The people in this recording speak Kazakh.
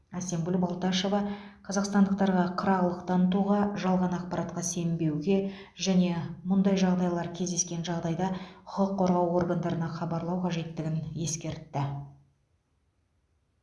әсемгүл балташева қазақстандықтарға қырағылық танытуға жалған ақпаратқа сенбеуге және мұндай жағдайлар кездескен жағдайда құқық қорғау органдарына хабарлау қажеттігін ескертті